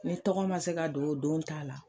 N'i tɔgɔ ma se ka don o don ta la,